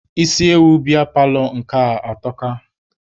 Isi ewu biya paalọ nke atọka.